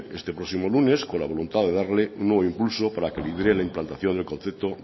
este próximo lunes con la voluntad de darle nuevo impulso para que lidere la implantación del concepto